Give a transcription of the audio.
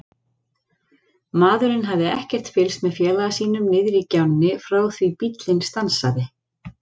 Maðurinn hafði ekkert fylgst með félaga sínum niðri í gjánni frá því bíllinn stansaði.